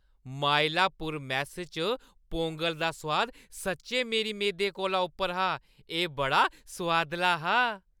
Mylapore mess च पोंगल दा सोआद सच्चैं मेरी मेदें कोला उप्पर हा। एह् बड़ा सोआदला हा।